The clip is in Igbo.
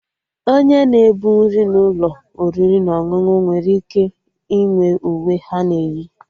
Onye na-ebu nri n'ụlọ oriri na ọṅụṅụ nwere ike inwe uwe ha na-eyi